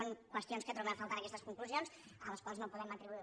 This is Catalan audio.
són qüestions que trobem a faltar en aquestes conclusions a les quals no podem atribuir